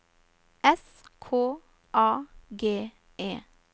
S K A G E